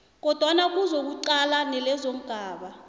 kodwana kuzokuqalwa lezongaba